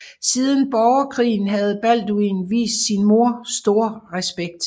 Siden borgerkrigen havde Balduin vist sin mor stor respekt